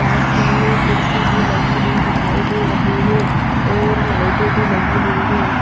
पास ही में कुर्सी भी लगी हुई दिखाई दे रही हैं और लाइटे भी लगी हुई हैं।